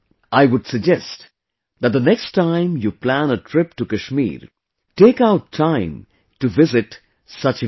I would suggest that the next time you plan a trip to Kashmir, take out time to visit such events